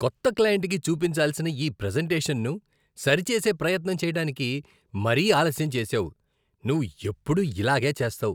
కొత్త క్లయింట్కి చూపించాల్సిన ఈ ప్రెజెంటేషన్ను సరిచేసే ప్రయత్నం చేయటానికి మరీ ఆలస్యం చేసావు. నువ్వు ఎప్పుడూ ఇలాగే చేస్తావు.